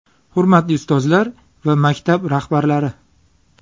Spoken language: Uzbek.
Hurmatli ustozlar va maktab rahbarlari!